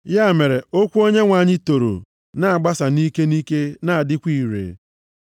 Ya mere, okwu Onyenwe anyị toro, na-agbasa nʼike nʼike na-adịkwa ire.